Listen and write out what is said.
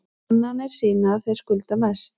Kannanir sýna að þeir skulda mest